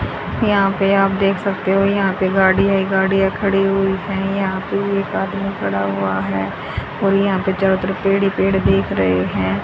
यहां पे आप देख सकते हो यहां पे गाड़ी है गाड़ियां खड़ी हुई है यहां पे एक आदमी खड़ा हुआ है और यहां पे चारों तरह पेड़ ही पेड़ दिख रहे हैं।